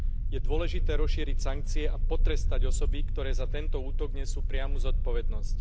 Je dôležité rozšíriť sankcie a potrestať osoby, ktoré za tento útok nesú priamu zodpovednosť.